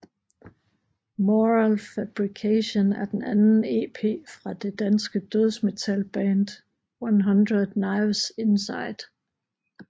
Moral Fabrication er den anden ep fra det danske dødsmetalband 100 Knives Inside